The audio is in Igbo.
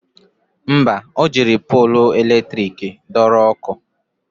Mba, o jiri polu latrik dọrọ ọkụ